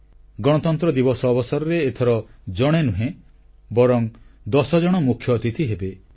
ସାଧାରଣତନ୍ତ୍ର ଦିବସ ଅବସରରେ ଏଥର ଜଣେ ନୁହେଁ ବରଂ ଦଶଜଣ ମୁଖ୍ୟ ଅତିଥି ହେବେ